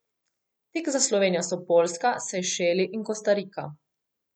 Tik za Slovenijo so Poljska, Sejšeli in Kostarika.